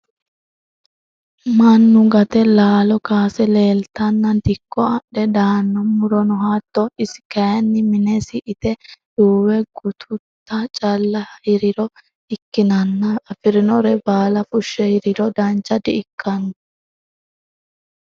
Mannu gate laalo kaase laaltenna dikko adhe daano murono hatto isi kayinni minesi ite duuwe gatutta calla hiriro ikkininna afirinore baala fushe hiriro dancha di"ikkano.